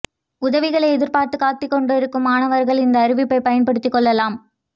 உதவிகளை எதிர்ப்பார்த்து காத்துக் கொண்டிருக்கும் மாணவர்கள் இந்த அறிவிப்பை பயன்படுத்துக் கொள்ளலாம்